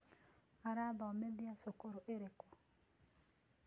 Arathomĩtĩa cũkũrũ ĩrĩkũ?